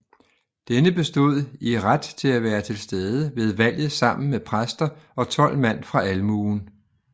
Denne bestod i ret til at være tilstede ved valget sammen med præster og tolv mand fra almuen